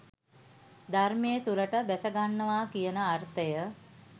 ධර්මය තුළට බැසගන්නවා කියන අර්ථය